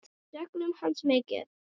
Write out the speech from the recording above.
Við söknum hans mikið.